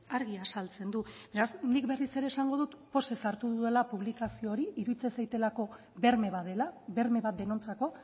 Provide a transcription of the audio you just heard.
argi azaltzen du beraz nik berriz ere esango dut pozez hartu dudala publikazio hori iruditzen zaidalako berme bat dela berme bat denontzako